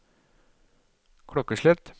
klokkeslett